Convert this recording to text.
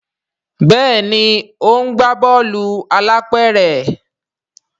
Béèni o ńgba Bọ́ọ̀lù alápẹ̀rẹ̀.